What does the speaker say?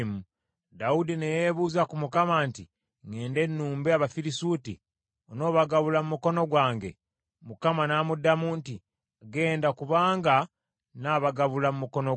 Dawudi ne yeebuuza ku Mukama nti, “Ŋŋende nnumbe Abafirisuuti? Onoobagabula mu mukono gwange?” Mukama n’amuddamu nti, “Genda, kubanga nnaabagabula mu mukono gwo.”